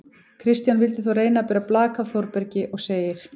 Kristján vildi þó reyna að bera blak af Þórbergi og segir: